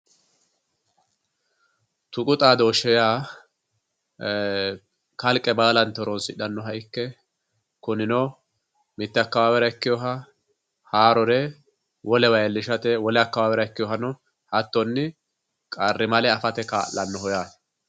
Tuqu xaadoshe yaa, e'e kalqe baallanti horonsidhanoha ikke kuninno mite akawawera ikkinore haarore wolewa iillishate wole akawawerano ikkinohano hattonni qarrimale afate kaa'lanoho yaate.